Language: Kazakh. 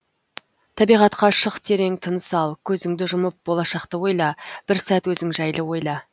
табиғатқа шық терең тыныс ал көзіңді жұмып болашақты ойла бір сәт өзің жайлы ойла